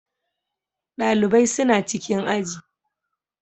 Ɗalibai suna cikin aji.